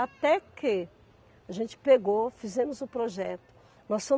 Até que a gente pegou, fizemos o projeto, nós